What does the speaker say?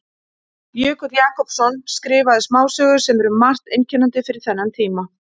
Jökull Jakobsson skrifaði smásögu sem er um margt einkennandi fyrir þennan tíma.